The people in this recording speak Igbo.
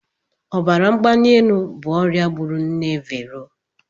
Ọbara mgbali elu bụ ọrịa gburu nne Vero.